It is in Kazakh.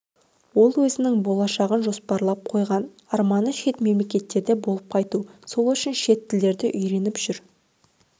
өзінің болашағын жоспарлап қойған арманы шет мемлекеттерде болып қайту сол үшін шетел тілдерін үйреніп жүр